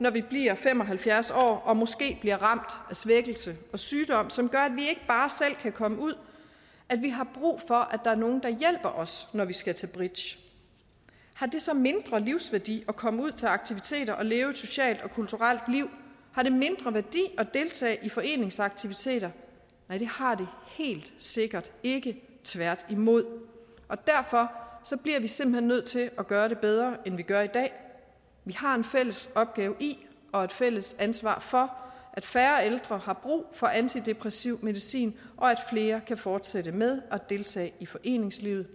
når vi bliver fem og halvfjerds år og måske bliver ramt af svækkelse og sygdom som gør at vi ikke bare selv kan komme ud at vi har brug for at der er nogle der hjælper os når vi skal til bridge har det så mindre livsværdi at komme ud til aktiviteter og leve et socialt og kulturelt liv har det mindre værdi at deltage i foreningsaktiviteter nej det har det helt sikkert ikke tværtimod og derfor bliver vi simpelt hen nødt til at gøre det bedre end vi gør i dag vi har en fælles opgave i og et fælles ansvar for at færre ældre har brug for antidepressiv medicin og at flere kan fortsætte med at deltage i foreningslivet